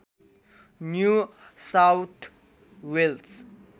new South Wales